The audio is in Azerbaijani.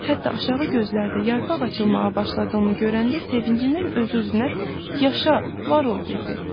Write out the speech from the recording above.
Hətta aşağı gözdə yarpaq açılmağa başladığını görəndə sevincindən öz-özünə “Yaşa, var ol” dedi.